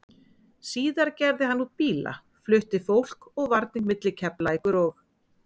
Síðar gerði hann út bíla, flutti fólk og varning milli Keflavíkur og